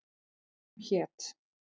Kóngur hét.